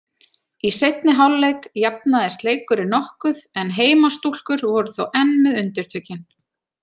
Í seinni hálfleik jafnaðist leikurinn nokkuð en heimastúlkur voru þó enn með undirtökin.